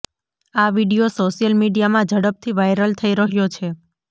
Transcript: આ video social મીડિયામાં ઝડપથી વાઈરલ થઈ રહ્યો છે